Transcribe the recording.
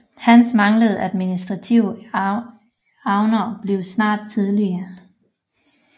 Hans manglende administrative evner blev snart tydelige